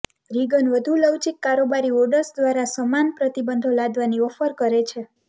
Reagan વધુ લવચીક કારોબારી ઑર્ડર્સ દ્વારા સમાન પ્રતિબંધો લાદવાની ઓફર કરે છે